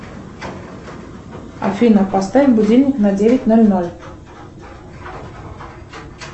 афина поставь будильник на девять ноль ноль